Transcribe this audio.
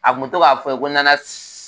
A kun bɛ to k'a fɔ n ye ko nana